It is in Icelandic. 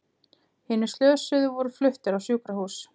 Hinir slösuðu voru fluttir á sjúkrahús